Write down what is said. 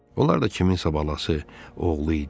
Onlar da kimsənin balası, oğlu idi.